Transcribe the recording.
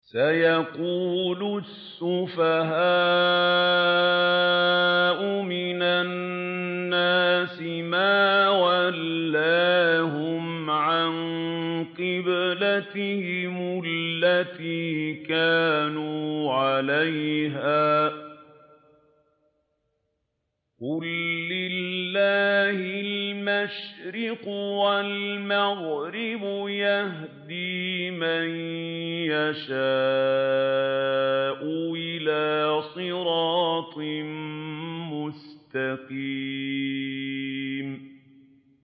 ۞ سَيَقُولُ السُّفَهَاءُ مِنَ النَّاسِ مَا وَلَّاهُمْ عَن قِبْلَتِهِمُ الَّتِي كَانُوا عَلَيْهَا ۚ قُل لِّلَّهِ الْمَشْرِقُ وَالْمَغْرِبُ ۚ يَهْدِي مَن يَشَاءُ إِلَىٰ صِرَاطٍ مُّسْتَقِيمٍ